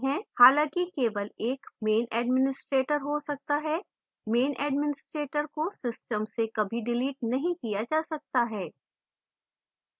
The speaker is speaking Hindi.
हालाँकि केवल एक main administrator हो सकता है main administrator को सिस्टम से कभी डिलीट नहीं किया जा सकता है